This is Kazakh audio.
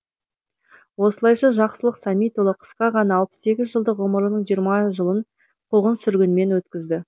осылайша жақсылық сәмитұлы қысқа ғана жиырма сегіз жылдық ғұмырының жиырма жылын қуғын сүргінмен өткізді